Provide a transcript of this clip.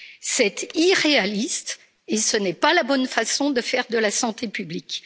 C'est irréaliste et ce n'est pas la bonne façon de faire de la santé publique.